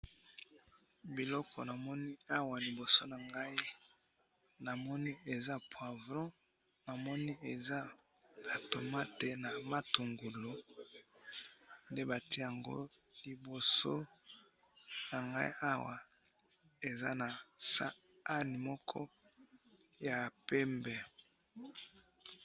biloko namoni awa liboso na ngayi namoni eza poivron namoni eza ba tomate na matungulu nde batiye yango liboso ya nga awa eza na sahani moko ya pembe